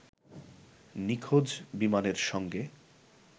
নিখোঁজ বিমানের সঙ্গে